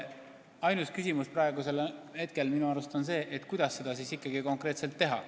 Ainus küsimus on praegu minu arust see, kuidas seda ikkagi konkreetselt teha.